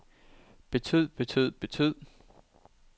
betød betød betød